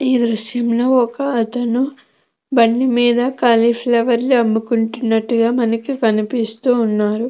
ఈ దృశ్యం లో ఒక్క అతను బండి మీద కాలిఫ్లవర్ ని అమ్ముకుంటున్నట్టుగా మనకి కనిపిస్తూ ఉన్నారు.